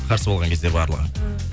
қарсы болған кезде барлығы